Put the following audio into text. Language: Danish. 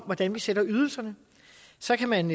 hvordan vi sætter ydelserne så kan man